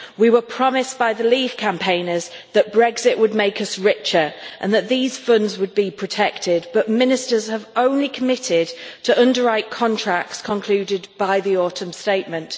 We were promised by the Leave campaigners that Brexit would make us richer and that these funds would be protected, but ministers have only committed to underwriting contracts concluded by the autumn statement.